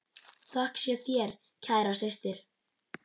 Þökk sé þér, kæra systir.